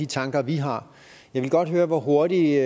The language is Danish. tanker vi har jeg vil godt høre hvor hurtigt